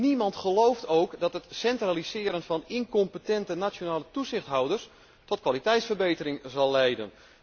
Niemand gelooft ook dat het centraliseren van incompetente nationale toezichthouders tot kwaliteitsverbetering zal leiden.